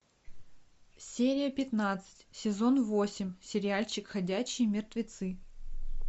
серия пятнадцать сезон восемь сериальчик ходячие мертвецы